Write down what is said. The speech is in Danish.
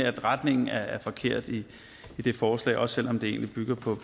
at retningen er forkert i det forslag også selv om det egentlig bygger på